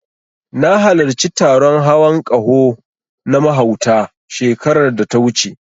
Na halarci taron hawan ƙaho na mahauta, shekarar da ta wuce.